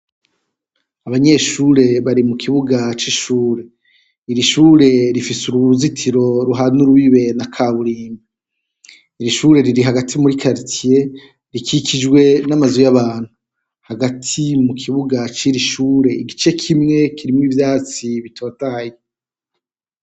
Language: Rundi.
Abanyeshure bari mukibuga cishure, iri shure rifise uruzitiro ruhana urubibe na kaburimbo. Iri shure riri hagati muri karitiye rikikijwe namazu yabantu hagati mukibuga ciri shure igice kimwe kirimwo ivyatsi bitotahaye.